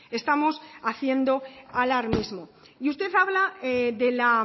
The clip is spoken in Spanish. estamos haciendo alarmismo y usted habla de la